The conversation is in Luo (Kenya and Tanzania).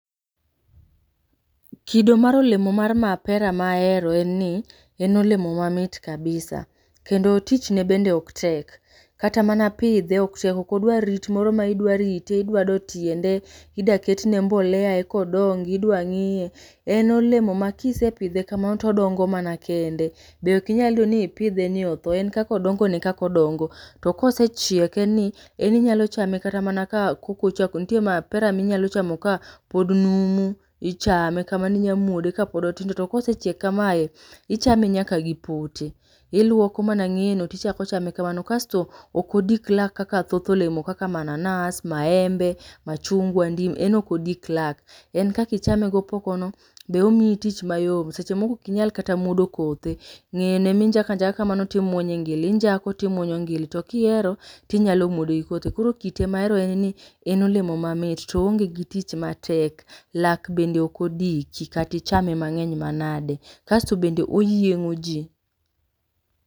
kido mar olemo mar mapera mahero e ni en olemo mamit kabisa kendo tich ne bende ok tek kata mana pidhe ok tek ok odwar rit moro ma idwa rite idwa do tiende idwa ketne mbolea eka odongi ,idwa ng'iye. En olemo ma kisepidhe kamano to odongo mana kende, be ok inyal yudo ni ipidhe ma otho, en kaka odongo no e kaka odongo, to kosechiek en ni ,en inyalo chame kata mana ka, nitie mapera ma inyalo chamo kat kapod numu, ichame kamano inyalo muode, to kosechiek kamae ichame nyaka gi pote, iluoko mana ngeye no to ichako chame kamano kasto ok odik lak kaka thoth olemo kaka mananas maembe machungwa ndim ,en ok odik lak, en kaka ichame gi opoko no be omiyi tich mayot seche moko be ok inyal muodo kothe ,ng'eye no ema injako anjaka kamano injako to imuonyo ngili, to kihero tinyalo muode gi kothe kamano, koro kite ma ahero en ni en olemo mamit to oonge gi tich matek lak bende ok odiki kata ichame mang'eny manade, kasto bende oyiengo ji.